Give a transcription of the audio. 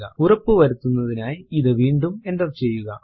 ഉറപ്പു വരുത്തുന്നതിനായി ഇത് വീണ്ടും എന്റർ ചെയ്യുക